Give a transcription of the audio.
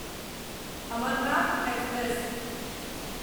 Amarnath express